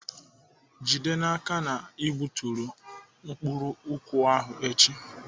Jide n'aka na ị gbuturu mkpụrụ nkwụ ahụ echi!